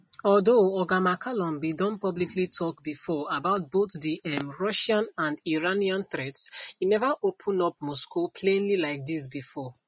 although oga mccallum bin don publicly tok before about both di um russian and iranian threats e neva open up moscow plainly like dis bifor